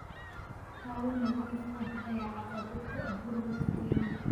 Hawo nadiif ah ayaa caqabad ku ah burburka kaymaha.